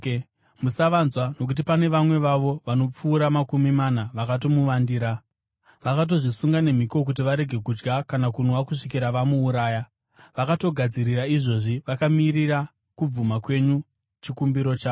Musavanzwa, nokuti pane vamwe vavo vanopfuura makumi mana vakamuvandira. Vakatozvisunga nemhiko kuti varege kudya kana kunwa kusvikira vamuuraya. Vakatogadzirira izvozvi, vakamirira kubvuma kwenyu chikumbiro chavo.”